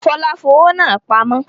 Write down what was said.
Fọlá fowó náà pamọ́?